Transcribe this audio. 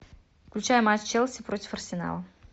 включай матч челси против арсенала